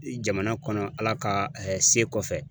Jamana kɔnɔ Ala ka se kɔfɛ